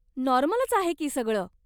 नॉर्मलच आहे की सगळं.